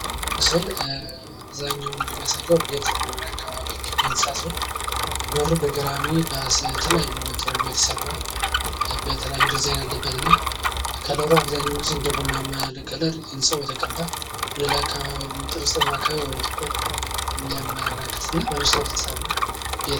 ይህ ምስል አብዛኛውን እንደሚያሳየው ቤት መኖሪያ ቤት አካባቢ የሚገኝ ህንጻ ሲሆን በሩ በገራሚ በተለያዩ የተሰራ የተለያዩ ድዛይን አለበት እና ከለሩ አብዛኛውን ጊዜ እንደ ቡናማ ያለ ከለር ህንጻው የተቀባ ጠርዝ ጠርዝ አካባቢ ወደ ጥቁር የሚያመላክት እና በመስታወት የተሰራ ቤት።